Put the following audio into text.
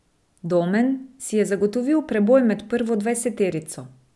Domen si je zagotovil preboj med prvo dvajseterico.